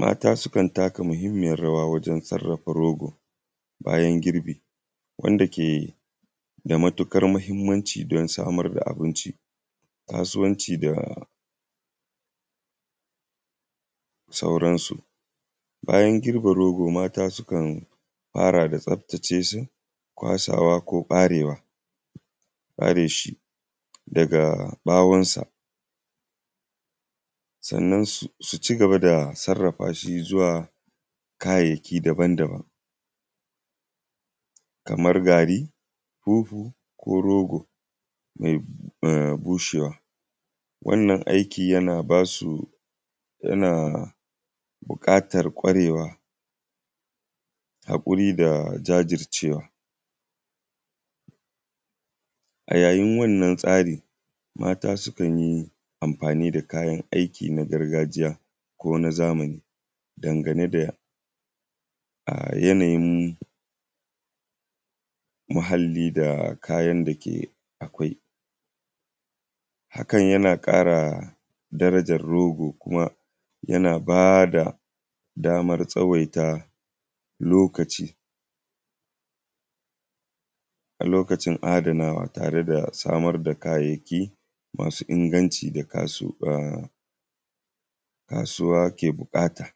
Mata suka taka muhimmiyar y waje sarrafa rogo bayan girbi wanda ke ke da matuƙar muhimmanci wajen samar da abinci da sauransu. Bayan girbin rogo mata sukan fara da tsaftace su, kwasawa ko ɓarewa daga ɓawonsa. Sannan su. Ci gaba da sarrafa shi zua kayayyaki daban-daban kamar gari, fufu ko rogo mai bushewa. Wannan aiki yana ba su yana buƙatar ƙwarewa hakuri da jajircewa a yayin wannan tsari mata sukan yi wannan tsarn aiki na gargajiya ko na zamani dangane da yanayin muhallin da Kayan da ke da akwai. Hakan yana ƙara darajar rogo kuma yana ba da famar tsawaita lokaci a lokacin adanawa tare da samar da kayayyaki masu inganci da kasuwa ke buƙata.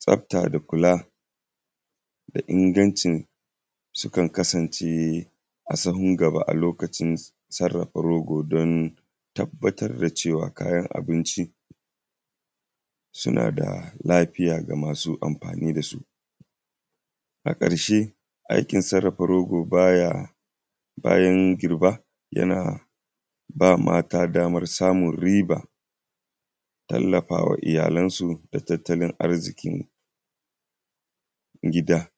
Tsafta da kula da ingancin sukan kasance a sahun gaba a lokacin sarrafa rogo don tabbatar da cewa kayan abinci suna da lafiya ga masu amfani da su. A ƙarshe aikin sarrafa rogo baya bayan girba yana ba mata damar samun riba tallaf awa iyalansu da tattalin arzikin gida.